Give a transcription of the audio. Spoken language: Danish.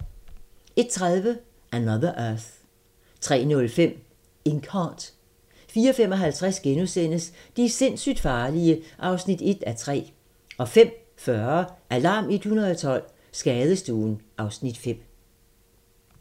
01:30: Another Earth 03:05: Inkheart 04:55: De sindssygt farlige (1:3)* 05:40: Alarm 112 - Skadestuen (Afs. 5)